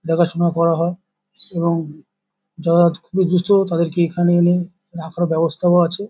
দেখাশুনা করা হয় এবং যারা হয়ত খুবই দুস্থ তাদেরকে এখানে এনে রাখার ব্যবস্থাও আছে।